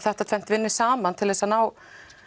þetta tvennt vinni saman til þess að ná